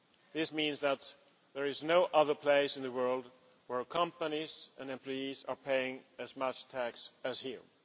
This means that there is no other place in the world where companies and employees are paying as much tax as here.